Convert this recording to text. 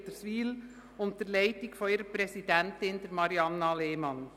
Sie haben den Antrag mit 102 Ja- gegen 17 Nein-Stimmen bei 8 Enthaltungen angenommen.